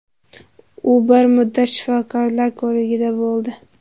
U bir muddat shifokorlar ko‘rigida bo‘ldi.